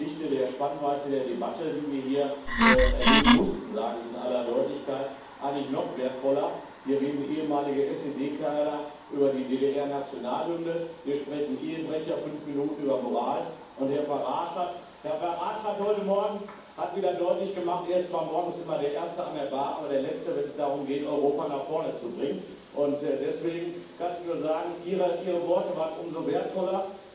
Ihre Rede wird im Lichte der Spannweite der Debatte, die wir hier erleben mussten sage ich in aller Deutlichkeit eigentlich noch wertvoller. Hier reden ehemalige SED Kader über die DDR Nationalhymne, hier sprechen Ehebrecher fünf Minuten über Moral, und Herr Farage hat heute Morgen wieder deutlich gemacht Er ist zwar morgens immer der erste an der Bar, aber der Letzte, wenn es darum geht, Europa nach vorne zu bringen. Deswegen kann ich nur sagen Ihre Worte waren umso wertvoller.